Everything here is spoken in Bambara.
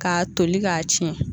K'a toli k'a tiɲɛ